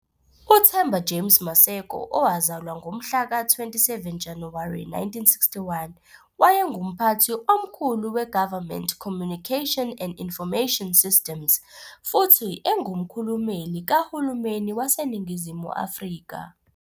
UThemba James Maseko, owazalwa ngomhlaka 27 Januwari 1961, wayenguMphathi Omkhulu we-Government Communication and Information Systems futhi engumkhulumeli kahulumeni waseNingizimu Afrika.